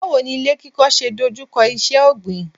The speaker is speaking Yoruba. Báwo ni ilé kíkọ́ ṣe ń dojú kọ iṣẹ́ ọ̀gbìn.